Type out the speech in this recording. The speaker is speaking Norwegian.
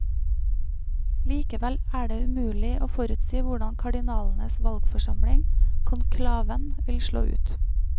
Likevel er det umulig å forutsi hvordan kardinalenes valgforsamling, konklaven, vil slå ut.